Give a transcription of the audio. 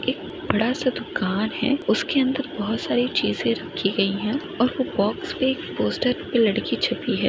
एक बड़ा सा दुकान है उसके अंदर बहुत सारी चीजे रख्खी गई है और वो बॉक्स पे एक पोस्टर पर एक लड़की छपी है।